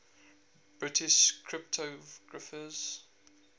british cryptographers